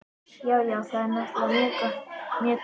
Já, já, það er náttúrlega mjög trúlegt.